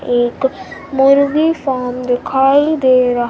एक मुर्गी फार्म दिखाई दे रहा।